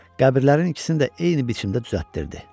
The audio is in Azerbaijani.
Qəbirlərin ikisini də eyni biçimdə düzəltdirdi.